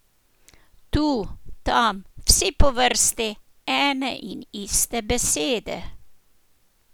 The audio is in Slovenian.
Tu, tam, vsi po vrsti, ene in iste besede!